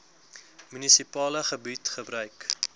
munisipale gebied gebruik